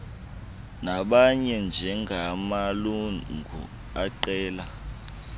nabanye njengamalungu eqela